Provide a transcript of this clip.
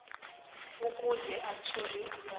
ukuze athole ulwazi